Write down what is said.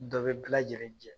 Dɔ bɛ bila jɛlen jɛ